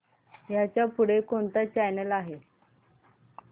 ह्याच्या पुढे कोणता चॅनल आहे